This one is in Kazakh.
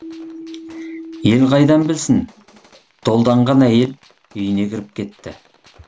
ел қайдан білсін долданған әйел үйіне кіріп кетті